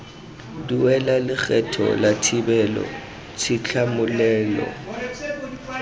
duela lekgetho la thibelo tshitlhamololelo